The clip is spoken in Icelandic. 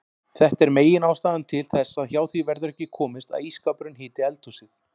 Þetta er meginástæðan til þess að hjá því verður ekki komist að ísskápurinn hiti eldhúsið.